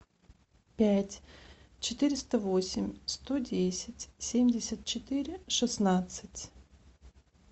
пять четыреста восемь сто десять семьдесят четыре шестнадцать